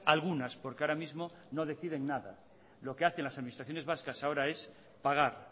algunas porque ahora mismo no deciden nada lo que hacen las administraciones vascas ahora es pagar